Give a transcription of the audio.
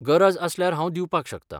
गरज आसल्यार हांव दिवपाक शकतां.